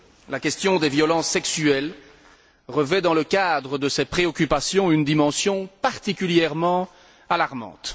La question des violences sexuelles revêt, dans le cadre de ces préoccupations, une dimension particulièrement alarmante.